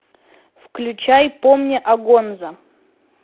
включай помни о гонзо